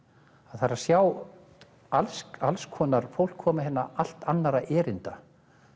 það er að sjá alls alls konar fólk koma hérna allt annarra erinda